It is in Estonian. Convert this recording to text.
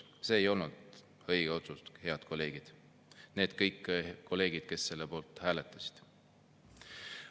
See ei olnud õige otsus, head kolleegid – kõik need kolleegid, kes selle poolt hääletasid.